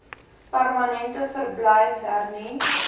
permanente verblyf hernu